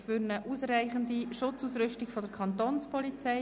Für eine ausreichende Schutzausrüstung der Kantonspolizei».